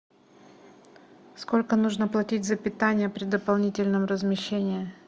сколько нужно платить за питание при дополнительном размещении